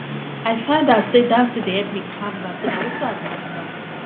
i find out say dancing dey help me calm down so na wetin i go do now